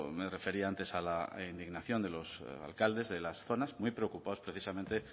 me refería antes a la indignación de los alcaldes de las zonas muy preocupados precisamente